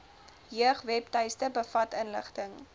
jeugwebtuiste bevat inligting